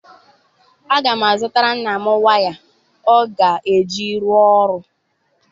Aga m azụtara nna m waya ọ ga-eji rụọ ọrụ.